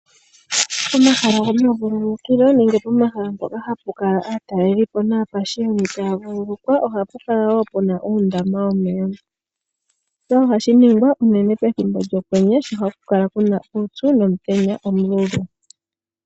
Pomahala gomavululukilo nenge pomala mpoka hapu kala aatalelipo naapashiyoni taya vululukwa ohapu kala wo puna uundama womeya, shika ohashi ningwa unene pethimbo lyokwenye sho haku kala kuna uupyu nomutenya omudhigu.